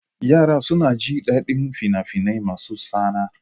Yara suna jin daɗin fina-finai masu tsana.